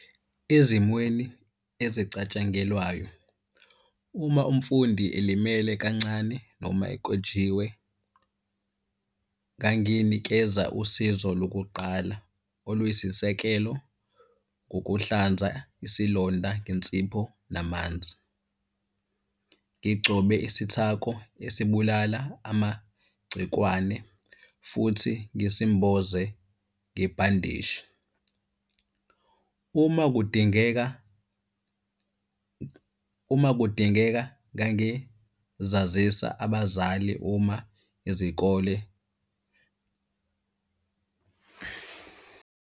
Ezimweni ezicatshangelwayo, uma umfundi elimele kancane noma ekwejiwe, nganginikeza usizo lokuqala oluyisisekelo ngokuhlanza isilonda ngensipho namanzi. Ngigcobe isithako esibulala amagcikwane futhi ngisimboze ngebhandishi. Uma kudingeka uma kudingeka ngangizazisa abazali uma izikole.